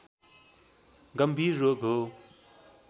गंभीर रोग हो